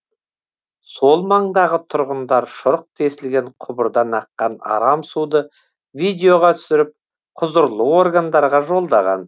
сол маңдағы тұрғындар шұрық тесілген құбырдан аққан арам суды видеоға түсіріп құзырлы органдарға жолдаған